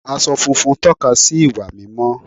Aṣọ funfun tóka sí ìwà mímọ́